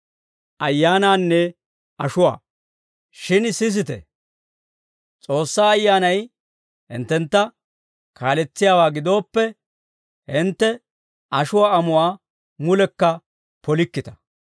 Shin sisite; S'oossaa Ayyaanay hinttentta kaaletsiyaawaa gidooppe, hintte ashuwaa amuwaa mulekka polikkita.